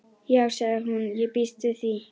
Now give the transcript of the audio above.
Já sagði hún, ég býst við því